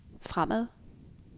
fremad